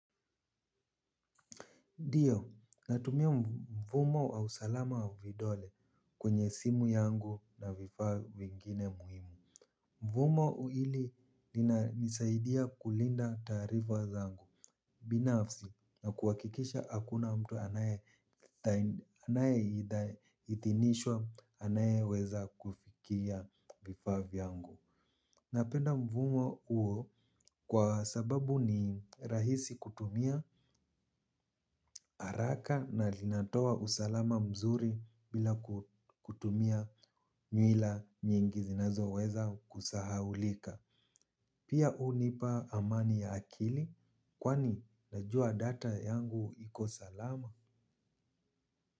Ndio, natumia mfumo wa usalama wa vidole kwenye simu yangu na vifaa vingine muhimu. Mfumo hili linanisaidia kulinda taarifa zangu binafsi na kuhakikisha hakuna mtu anayeidhinishwa anayeweza kuafikia vifaa vyangu. Napenda mfumo huo kwa sababu ni rahisi kutumia haraka na linatoa usalama mzuri bila kutumia nyuila nyingi zinazoweza kusahaulika. Pia hunipa amani ya akili kwani najua data yangu iko salama.